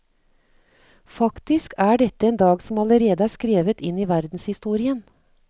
Faktisk er dette en dag som allerede er skrevet inn i verdenshistorien.